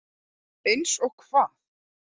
Eins og hvað?